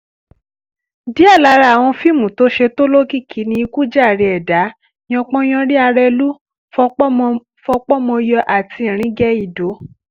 díẹ̀ lára àwọn fíìmù tó ṣe tó lókìkí ni ikú jàre ẹ̀dà yanpan yanrìn arẹ́lú fọpomọyọ àti iringeindo